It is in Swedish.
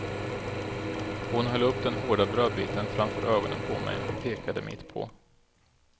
Hon höll upp den hårda brödbiten framför ögonen på mig och pekade mitt på.